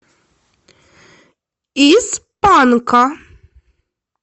из панка